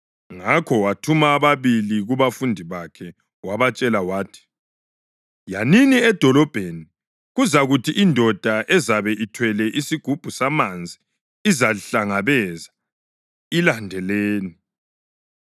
Ngakho wathuma ababili kubafundi bakhe wabatshela wathi, “Yanini edolobheni, kuzakuthi indoda ezabe ithwele isigubhu samanzi izalihlangabeza. Ilandeleni.